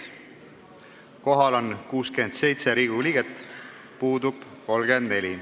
Kohal on 67 Riigikogu liiget, puudub 34.